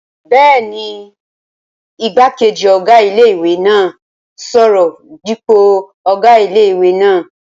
Bẹ́ẹ̀ni, igbákejì ọ̀gá ilé-ìwé náà n sọ̀rọ̀ dípò ọ̀gá ilé-ìwé náà